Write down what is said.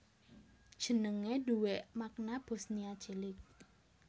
Jenegé duwé makna Bosnia Cilik